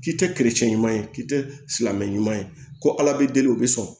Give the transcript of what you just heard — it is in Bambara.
K'i tɛ ɲuman ye k'i tɛ silamɛ ɲuman ye ko ala bɛ deli u bɛ sɔn